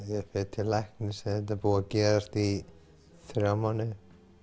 til læknis þegar þetta er búið að gerast í þrjá mánuði